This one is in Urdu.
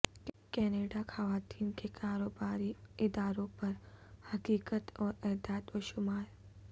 کینیڈا خواتین کے کاروباری اداروں پر حقیقت اور اعداد و شمار